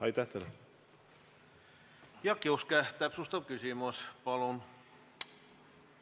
Jaak Juske, täpsustav küsimus, palun!